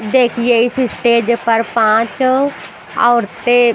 देखिए इस स्टेज पर पाँच औरतें--